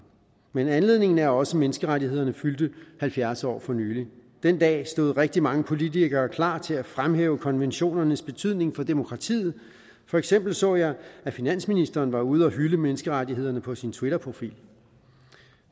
men anledningen er også at menneskerettighederne fyldte halvfjerds år for nylig den dag stod rigtig mange politikere klar til at fremhæve konventionernes betydning for demokratiet for eksempel så jeg at finansministeren var ude og hylde menneskerettighederne på sin twitterprofil